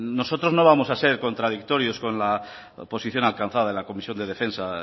nosotros no vamos a ser contradictorios con las posiciones alcanzadas en la comisión de defensa